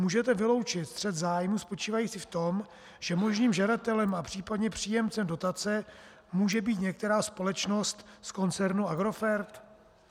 Můžete vyloučit střet zájmů spočívající v tom, že možným žadatelem a případně příjemcem dotace může být některá společnost z koncernu Agrofert?